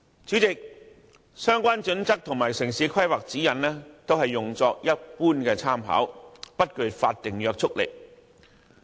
《規劃標準》和《指引》只用作一般參考，不具法定約束力。